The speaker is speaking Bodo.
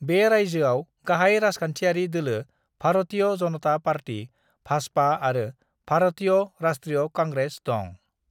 बे रायजोआव गाहाय राजखान्थियारि दोलो भारतीय जनता पार्टी (भाजपा) आरो भारतीय राष्ट्रीय कांग्रेस दं।